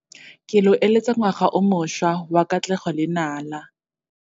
Ke lo eleletsa ngwaga o mošwa wa katlego le nala.